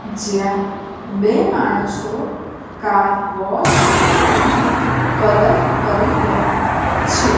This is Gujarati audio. જ્યાં બે માણસો કાર વોશ અને કલર કરી રહ્યા છે.